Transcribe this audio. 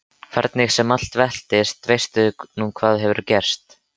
Hvernig sem allt veltist veistu nú hvað gerst hefur.